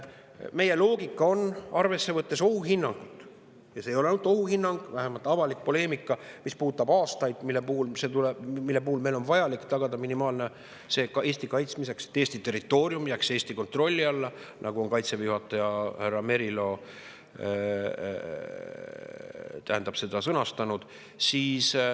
Meie loogika on see, võttes arvesse ohuhinnangut – ja see ei ole ainult ohuhinnang, vähemalt avalikus poleemikas, mis puudutab aastaid, mille jooksul meil on vajalik tagada minimaalne Eesti kaitsmiseks –, et Eesti territoorium jääks Eesti kontrolli alla, nagu on Kaitseväe juhataja härra Merilo sõnastanud.